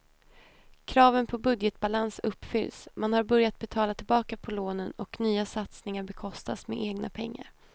Kraven på budgetbalans uppfylls, man har börjat betala tillbaka på lånen och nya satsningar bekostas med egna pengar.